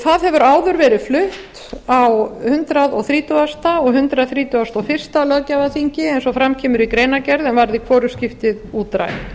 það hefur áður verið flutt á hundrað þrítugasta og hundrað þrítugasta og fyrsta löggjafarþingi eins og fram kemur í greinargerð en varð í hvorugt skipti útrætt